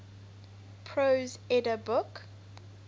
prose edda book